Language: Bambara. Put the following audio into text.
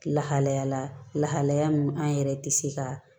Lahalaya lahalaya min an yɛrɛ tɛ se ka